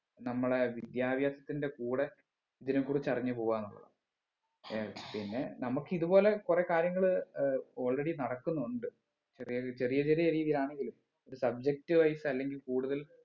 നമ്മളെ വിദ്യാഭ്യാസത്തിന്റെ കൂടെ ഇതിനെ കുറിച്ച് അറിഞ്ഞ് പോവാന്നുള്ളതാ ഏർ പിന്നെ നമ്മുക്ക് ഇതുപോലെകുറേ കാര്യങ്ങള് ഏർ already നടക്കുന്നുണ്ട് ചെറി ചെറിയ ചെറിയ രീതിയിൽ ആണെങ്കിലും ഒരു subject wise അല്ലെങ്കിൽ കൂടുതൽ